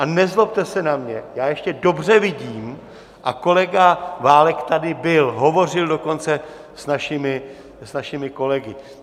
A nezlobte se na mě, já ještě dobře vidím a kolega Válek tady byl, hovořil dokonce s našimi kolegy.